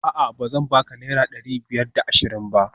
A'a bazan baka naira dari biyar da ashirin ba?